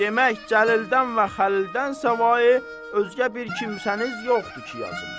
Demək Cəlilidən və Xəlilidən səvayi özgə bir kimsəniz yoxdur ki, yazım.